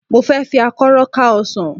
Mo fẹ́ fi àkọ́rọ́ ká ọsàn.